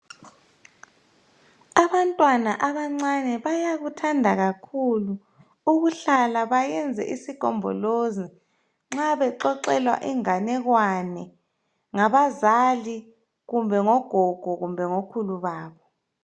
Abantwana abancane bayakuthanda kakhulu ukuhlala bayenze isigombolozi nxa bexoxelwa inganekwane ngabazali kumbe ngogog kumbe ngokhulu babo